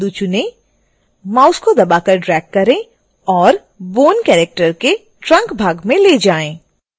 mouse को दबाकर drag करें और bone को कैरेक्टर के trunk भाग में ले जाएं